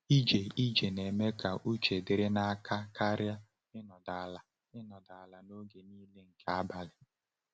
Ije ije na-eme ka uche dịrị n’aka karịa ịnọdụ ala ịnọdụ ala n’oge niile nke abalị.